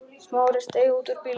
Smári steig út úr bílnum.